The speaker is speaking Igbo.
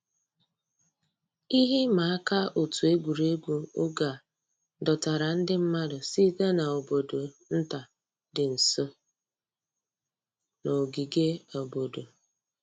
Íhè ị̀mà àkà ọ̀tù ègwè́régwụ̀ ògè à dọ̀tárà ńdí mmàdụ̀ sị̀tè n'àbọ̀dò̀ ńtà dì́ ǹsọ̀ nà ògìgè àbọ̀dò̀.